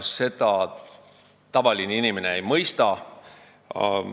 Seda tavaline inimene ei mõista.